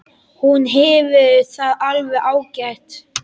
Hún hefur það alveg ágætt.